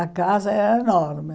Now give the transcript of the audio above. A casa era enorme.